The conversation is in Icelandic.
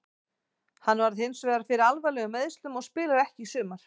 Hann varð hinsvegar fyrir alvarlegum meiðslum og spilar ekki í sumar.